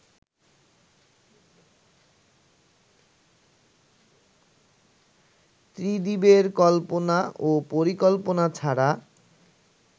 ত্রিদিবের কল্পনা ও পরিকল্পনা ছাড়া